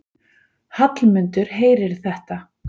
Hallmundur heyrir þetta.